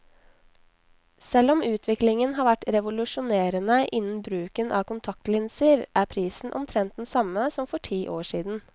Selv om utviklingen har vært revolusjonerende innen bruken av kontaktlinser, er prisen omtrent den samme som for ti år siden.